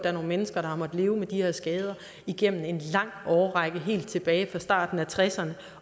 er nogle mennesker der har måttet leve med de her skader igennem en lang årrække helt tilbage fra starten af nitten tresserne